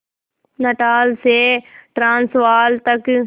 Natal से Transvaal तक